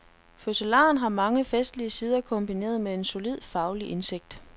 Fødselaren har mange festlige sider kombineret med solid faglig indsigt.